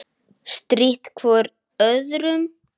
Strítt hvor öðrum.